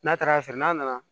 N'a taara sɔrɔ n'a nana